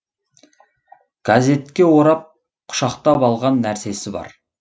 газетке орап құшақтап алған нәрсесі бар